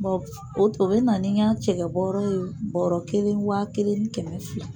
o to o bɛ na ni n ka cɛkɛ bɔɔrɔ ye bɔɔrɔ kelen wa kelen ni kɛmɛ fila.